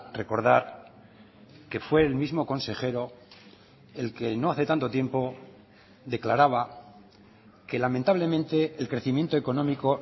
recordar que fue el mismo consejero el que no hace tanto tiempo declaraba que lamentablemente el crecimiento económico